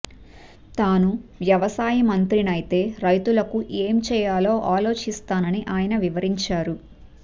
తాను వ్యవసాయ మంత్రినైతే రైతులకు ఏం చేయాలో ఆలోచిస్తానని ఆయన వివరించారు